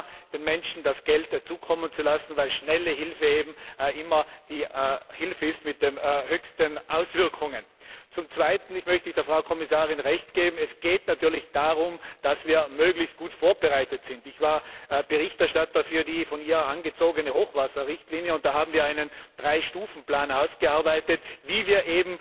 allem den Menschen das Geld schneller zukommen zu lassen, weil schnelle Hilfe eben immer die Hilfe mit den größten Auswirkungen ist. Zum Zweiten möchte ich der Frau Kommissarin Recht geben Es geht natürlich darum, dass wir möglichst gut vorbereitet sind. Ich war Berichterstatter für die von ihr angestoßene Hochwasserrichtlinie, und da haben wir einen 3 Stufen Plan ausgearbeitet, wie wir